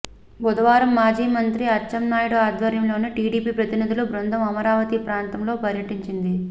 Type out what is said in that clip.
బుధవారం మాజీ మంత్రి అచ్చెన్నాయుడు ఆధ్వర్యంలోని టీడీపీ ప్రతినిధుల బృందం అమరావతి ప్రాంతంలో పర్యటించింది